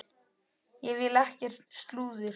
Ég vil ekkert slúður.